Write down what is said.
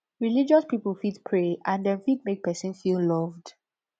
religious pipo fit pray and dem fit make person feel loved